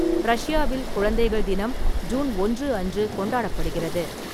ரஷ்யாவில், குழந்தைகள் தினம் ஜூன் ஒன்று அன்று கொண்டாடப்படுகிறது.